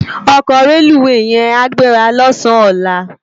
Òkò rélúwé yèn á gbérâ lòsán òlá